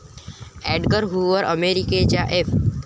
Edgar Hoover, अमेरिकेच्या F.